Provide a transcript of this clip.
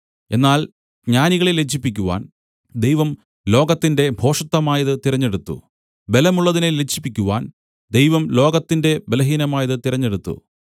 എന്നാൽ ജ്ഞാനികളെ ലജ്ജിപ്പിക്കുവാൻ ദൈവം ലോകത്തിന്റെ ഭോഷത്തമായതു തിരഞ്ഞെടുത്തു ബലമുള്ളതിനെ ലജ്ജിപ്പിക്കുവാൻ ദൈവം ലോകത്തിന്റെ ബലഹീനമായത് തിരഞ്ഞെടുത്തു